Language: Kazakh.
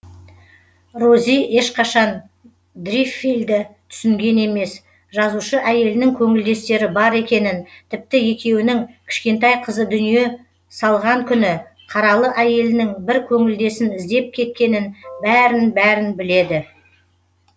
рози ешқашан дриффилдті түсінген емес жазушы әйелінің көңілдестері бар екенін тіпті екеуінің кішкентай қызы дүние салған күні қаралы әйелінің бір көңілдесін іздеп кеткенін бәрін бәрін біледі